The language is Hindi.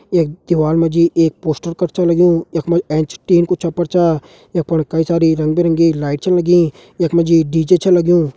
यख दीवाल मा जी एक पोस्टर कर छ लग्युं यख मा एंच एक टीन कु छप्पर छा यख फण कई सारी रंग बिरंगी लाइट छन लगी यख मा जी डी.जे छ लग्युं।